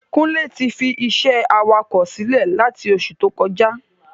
Kúnlé ti fi isé awakọ̀ silẹ lati oṣù tó kọjá